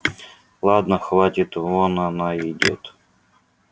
ладно хватит вон она едет